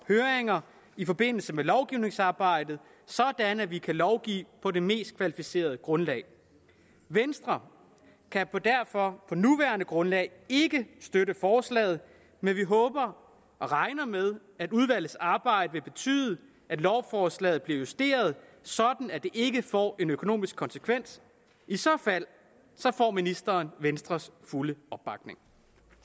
høringer i forbindelse med lovgivningsarbejdet sådan at vi kan lovgive på det mest kvalificerede grundlag venstre kan derfor på det nuværende grundlag ikke støtte forslaget men vi håber og regner med at udvalgets arbejde vil betyde at lovforslaget bliver justeret sådan at det ikke får en økonomisk konsekvens i så fald får ministeren venstres fulde opbakning